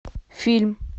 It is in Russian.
фильм